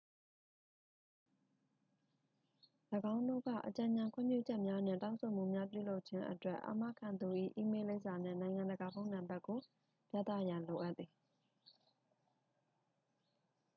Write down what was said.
၎င်းတို့က အကြံဉာဏ်/ခွင့်ပြုချက်များနှင့် တောင်းဆိုမှုများ ပြုလုပ်ခြင်းအတွက် အာမခံသူ၏ အီးမေးလ်လိပ်စာနှင့် နိုင်ငံတကာ ဖုန်းနံပါတ်ကို ပြသရန် လိုအပ်သည်။